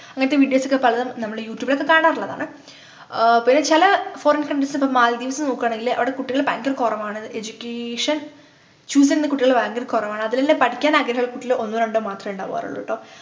അങ്ങനത്തെ videos ഒക്കെ പല നമ്മള് യൂട്യൂബിലൊക്കെ കാണാറുള്ളതാണ് ആഹ് പിന്നെ ചില Foreign countries ഇപ്പൊ maldives നോക്കുകാണെങ്കില് അവിടെ കുട്ടികളു ഭയങ്കര കുറവാണു education choose ചെയ്യുന്ന കുട്ടികള് ഭയങ്കര കൊറവാണ് അതിലെന്നെ പഠിക്കാൻ ആഗ്രഹമുള്ള കുട്ടികള് ഒന്നോ രണ്ടോ മാത്രേ ഉണ്ടാവാറുള്ളു ട്ടോ